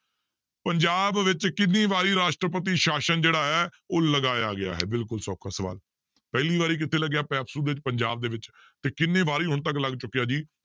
ਪੰਜਾਬ ਵਿੱਚ ਕਿੰਨੀ ਵਾਰੀ ਰਾਸ਼ਟਰਪਤੀ ਸ਼ਾਸ਼ਨ ਜਿਹੜਾ ਹੈ ਉਹ ਲਗਾਇਆ ਗਿਆ ਹੈ ਬਿਲਕੁਲ ਸੌਖਾ ਸਵਾਲ, ਪਹਿਲੀ ਵਾਰ ਕਿੱਥੇ ਲੱਗਿਆ ਪੈਪਸੂ ਵਿੱਚ ਪੰਜਾਬ ਦੇ ਵਿੱਚ ਤੇ ਕਿੰਨੇ ਵਾਰੀ ਹੁਣ ਤੱਕ ਲੱਗ ਚੁੱਕਿਆ ਜੀ?